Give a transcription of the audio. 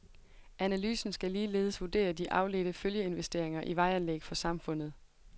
Analysen skal ligeledes vurdere de afledte følgeinvesteringer i vejanlæg for samfundet.